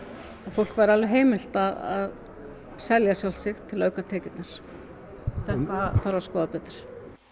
fólki væri alveg heimilt til að selja sjálft sig til að auka tekjurnar þetta þarf að skoða betur